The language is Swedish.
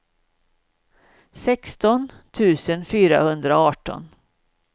sexton tusen fyrahundraarton